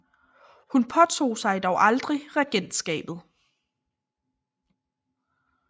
Hun påtog sig dog aldrig regentskabet